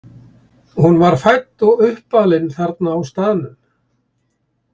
Hún var fædd og uppalin þarna á staðnum.